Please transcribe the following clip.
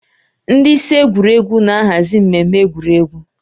Ndị isi egwuregwu na-ahazi mmemme egwuregwu